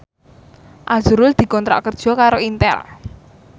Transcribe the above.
azrul dikontrak kerja karo Intel